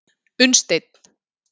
Unnsteinn